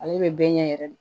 Ale bɛ bɛɛ ɲɛ yɛrɛ de